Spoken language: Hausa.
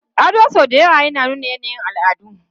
Ado sau da yawa yana nuna yanayin al'adu.